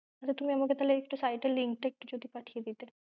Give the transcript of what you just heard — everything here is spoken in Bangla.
আমাকে তাহলে site এর link টা একটু পাঠিয়ে দিতে।